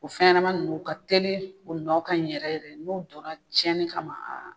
O fɛn ɲɛnama nun u ka telin u nɔ ka ɲi yɛrɛ yɛrɛ n'u dora tiɲɛni kama